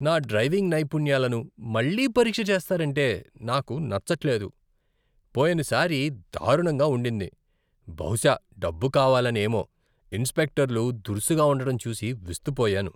నా డ్రైవింగ్ నైపుణ్యాలను మళ్లీ పరీక్ష చేస్తారంటే నాకు నచ్చట్లేదు. పోయినసారి దారుణంగా ఉండింది. బహుశా డబ్బు కావాలనేమో, ఇన్స్పెక్టర్లు దురుసుగా ఉండటం చూసి విస్తుపోయాను.